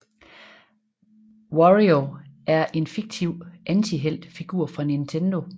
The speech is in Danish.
Wario er en fiktiv antihelt figur fra Nintendo